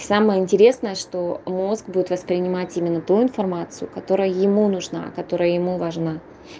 самое интересное что мозг будет воспринимать именно ту информацию которая ему нужна которая ему важна